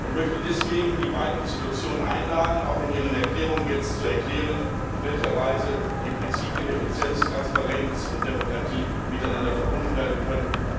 Ich möchte deswegen die beiden Institutionen einladen, in ihren Erklärungen jetzt zu erklären, in welcher Weise die Prinzipien Effizienz, Transparenz und Demokratie miteinander verbunden werden können.